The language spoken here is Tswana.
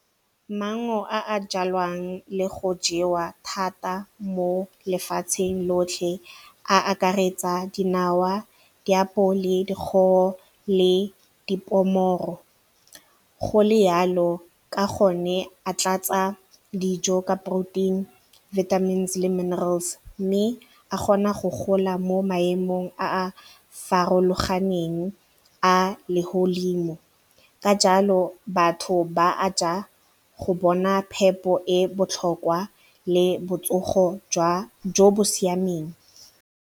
Maungo a a jalwang le go jewa thata mo lefatsheng lotlhe a akaretsa dinawa, diapole, le dipomoro go le yalo ka gonne a tlatsa dijo ka protein, vitamins le minerals mme a kgona go gola mo maemong a a farologaneng a legodimo ka jalo batho ba a ja go bona phepo e botlhokwa le botsogo jo bo siameng.